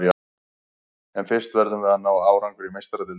En fyrst verðum við að ná árangri í Meistaradeildinni.